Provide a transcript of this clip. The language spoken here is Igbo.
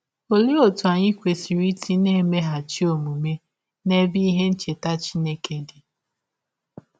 Ọlee ọtụ anyị kwesịrị isi na - emeghachi ọmụme n’ebe ihe ncheta Chineke dị?